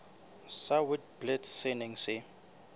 sa witblits se neng se